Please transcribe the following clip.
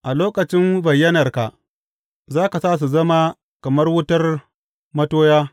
A lokacin bayyanarka za ka sa su zama kamar wutar matoya.